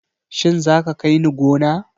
Shin za ka kai ni gona?